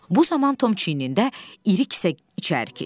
Bu zaman Tom çiyinində iri kisə içəri keçdi.